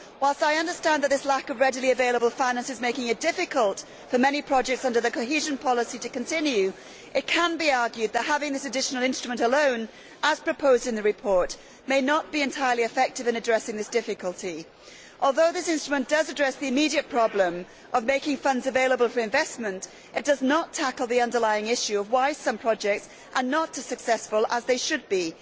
Whilst I understand that this lack of readily available finance is making it difficult for many projects under the cohesion policy to continue, it can be argued that having this additional instrument alone, as proposed in the report, may not be entirely effective in addressing this difficulty. Although this instrument does address the immediate problem of making funds available for investment, it does not tackle the underlying issue of why some projects are not as successful as they should be.